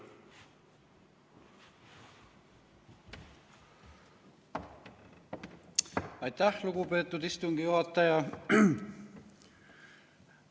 Aitäh, lugupeetud istungi juhataja!